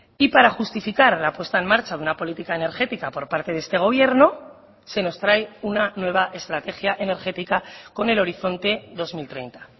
y para justificar la puesta en marcha de una política energética por parte de este gobierno se nos trae una nueva estrategia energética con el horizonte dos mil treinta